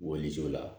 Woloso la